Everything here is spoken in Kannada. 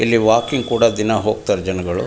ಇಲ್ಲಿ ವಾಕಿಂಗ್ ಕೂಡ ದಿನ ಹೋಗ್ತಾರೆ ಜನಗಳು.